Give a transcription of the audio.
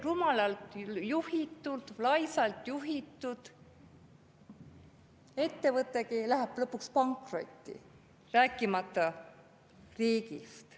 Rumalalt juhitud, laisalt juhitud ettevõtegi läheb lõpuks pankrotti, rääkimata riigist.